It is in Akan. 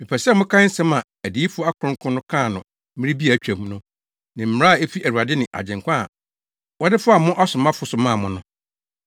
Mepɛ sɛ mokae nsɛm a adiyifo akronkron no kaa no mmere bi a atwam no ne mmara a efi Awurade ne Agyenkwa a wɔde faa mo asomafo so maa mo no.